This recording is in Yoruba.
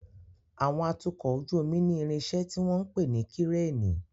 Àwọn atukọ̀ ojú omi ní irinṣẹ́ tí wọ́n ń pè ní Kíréènì.